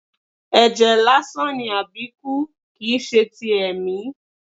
Ẹjẹ lásán ni Abiku, kìí ṣe ti ẹ̀mí.